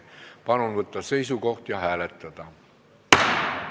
Palun võtta seisukoht ja hääletada!